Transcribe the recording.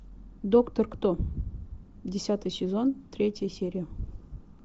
доктор кто десятый сезон третья серия